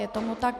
Je tomu tak.